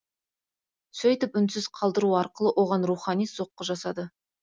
сөйтіп үнсіз қалдыру арқылы оған рухани соққы жасады